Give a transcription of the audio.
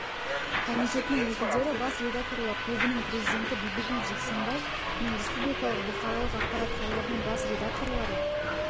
комитетінің өкілдері бас редакторлар клубының президенті бибігүл жексенбай мен республикалық бұқаралық ақпарат құралдарының бас редакторлары